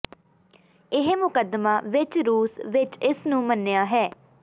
ਇਹ ਮੁਕੱਦਮਾ ਵਿਚ ਰੂਸ ਵਿਚ ਇਸ ਨੂੰ ਮੰਨਿਆ ਹੈ